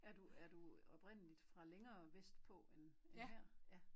Er du er du oprindeligt fra længere vestpå end her ja